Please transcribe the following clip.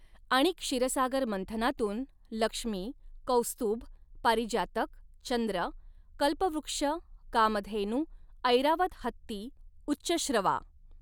आणि क्षीरसागर मंथनातून लक्ष्मी, कौस्तुभ, पारिजातक, चंद्र, कल्पवृक्ष, कामधेनू, ऐरावत हत्ती, उच्चश्रवा.